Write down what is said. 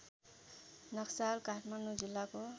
नक्साल काठमाडौँ जिल्लाको